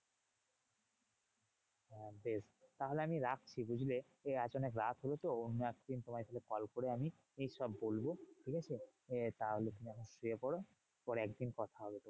বেশ, তাহলে আমি রাখছি বুঝলে? আজ অনেক রাত হলো তো অন্য একদিন তোমায় তাহলে কল করে আমি সব বলবো। ঠিকাছে? তাহলে তুমি এখন শুয়ে পরো, পরে একদিন কথা হবে।